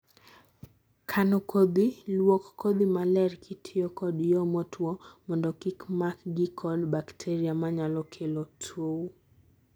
kano kodhi, luok kodhi maler kitiyo kod yo motuo mondo kik makgi kod bakteria manyalo kelo tow